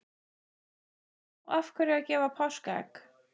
Hrund: Og af hverju að gefa páskaegg?